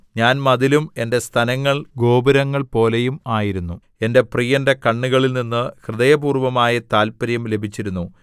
ഞാൻ മതിലും എന്റെ സ്തനങ്ങൾ ഗോപുരങ്ങൾപോലെയും ആയിരുന്നു എന്റെ പ്രിയന്റെ കണ്ണുകളില്‍ നിന്ന് ഹൃദയപൂര്‍വ്വമായ താല്പര്യം ലഭിച്ചിരുന്നു